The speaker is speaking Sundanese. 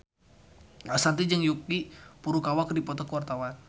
Ashanti jeung Yuki Furukawa keur dipoto ku wartawan